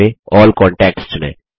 अल्ल contacts चुनें